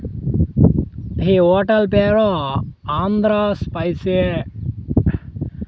He hotel పేరు Andhra spicy .